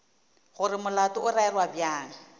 gore molato o rerwa bjang